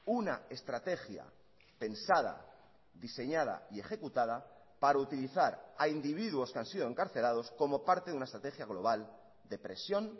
una estrategia pensada diseñada y ejecutada para utilizar a individuos que han sido encarcelados como parte de una estrategia global de presión